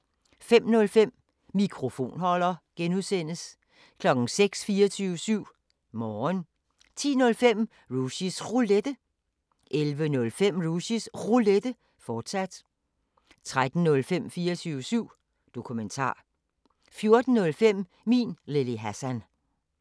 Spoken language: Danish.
05:05: Mikrofonholder (G) 06:00: 24syv Morgen 10:05: Rushys Roulette 11:05: Rushys Roulette, fortsat 13:05: 24syv Dokumentar 14:05: Min Lille Hassan